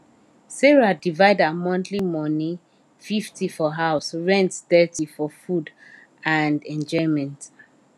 sarah divide her monthly money 50 for house rent thirty for food and enjoyment